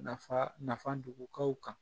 Nafa nafa dogotaw kan